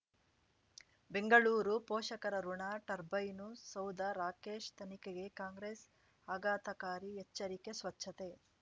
ಬೆಂಗಳೂರು ಪೋಷಕರಋಣ ಟರ್ಬೈನು ಸೌಧ ರಾಕೇಶ್ ತನಿಖೆಗೆ ಕಾಂಗ್ರೆಸ್ ಆಘಾತಕಾರಿ ಎಚ್ಚರಿಕೆ ಸ್ವಚ್ಛತೆ